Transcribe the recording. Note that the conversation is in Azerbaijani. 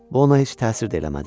Bu ona heç təsir də eləmədi.